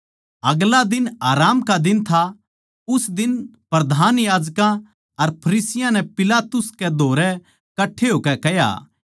अगला दिन आराम का दिन था उस दिन प्रधान याजकां अर फरिसियाँ नै पिलातुस कै धोरै कट्ठे होकै कह्या